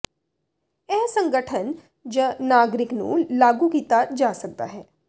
ਇਹ ਸੰਗਠਨ ਜ ਨਾਗਰਿਕ ਨੂੰ ਲਾਗੂ ਕੀਤਾ ਜਾ ਸਕਦਾ ਹੈ